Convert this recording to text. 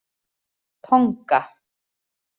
Tonga